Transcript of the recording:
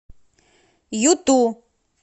юту